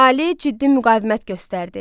Əhali ciddi müqavimət göstərdi.